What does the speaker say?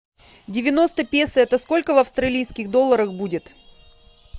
девяносто песо это сколько в австралийских долларах будет